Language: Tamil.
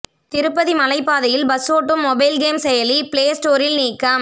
திருப்பதி மலைப்பாதையில் பஸ் ஓட்டும் மொபைல் கேம் செயலி ப்ளே ஸ்டோரில் நீக்கம்